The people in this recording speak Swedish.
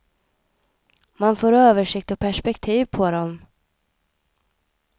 Man får översikt och perspektiv på dem.